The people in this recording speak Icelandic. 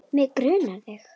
Mig grunaði það!